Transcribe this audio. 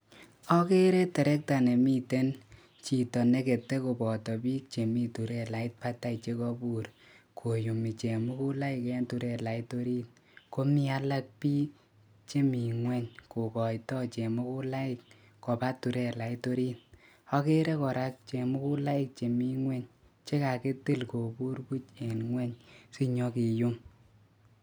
Akerei terekta komoib chito neketei akomii bik alak chetilei ngwek ak bik alak cheindoi terekta ak chemuguloik alak chekakitil akemeto kobur en ngwony